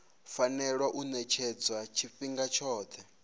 fanela u ṅetshedzwa tshifhinga tshoṱhe